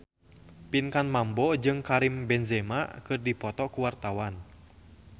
Pinkan Mambo jeung Karim Benzema keur dipoto ku wartawan